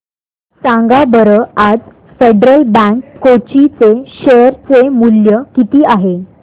सांगा बरं आज फेडरल बँक कोची चे शेअर चे मूल्य किती आहे